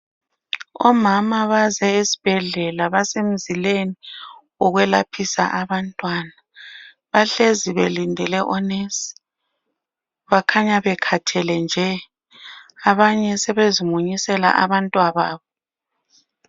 Omama baze esibhedlela basemzileni wokwelaphisa abantwana. Bahlezi belindele onesi. Bakhanya bekhathele nje. Abanye sebezimunyisela abantwababo.